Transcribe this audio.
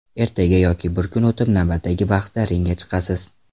Ertaga yoki bir kun o‘tib navbatdagi bahsda ringga chiqasiz.